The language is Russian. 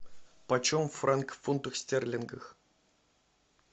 почем франк в фунтах стерлингах